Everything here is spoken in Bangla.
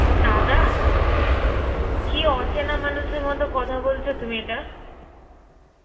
দাদা? তো কি অচেনা হ্যাঁ বল মানুষের মতো কথা বলছো তুমি এটা?